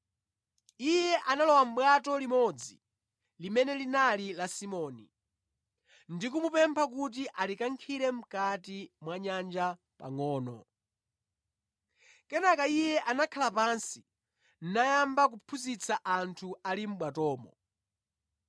Iye analowa mʼbwato limodzi limene linali la Simoni, ndi kumupempha kuti alikankhire mʼkati mwa nyanja pangʼono. Kenaka Iye anakhala pansi nayamba kuphunzitsa anthu ali mʼbwatomo.